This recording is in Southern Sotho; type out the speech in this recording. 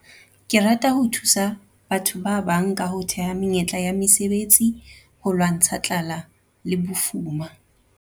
Ke rata ho thusa batho ba bang ka ho theha menyetla ya mesebetsi ho lwantsha tlala le bofuma.